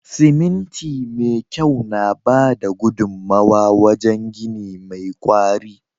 Siminti me kyau na bada gudunmawa wajen gini mai kwari.